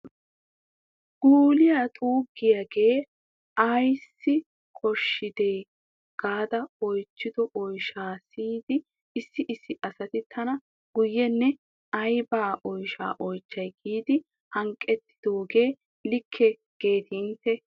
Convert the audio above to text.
Guuliya xuuggiyooge ayssi koshshide gaada oychchido oyshsha siyida issi issi asati tana guye ne ayba oyshaa oychchay giidi hanqqetidooge likke geeti intte?